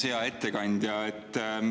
Hea ettekandja!